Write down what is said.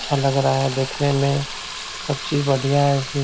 अच्छा लग रहा है देखने में सब चीज बढ़ियां है इसमे ।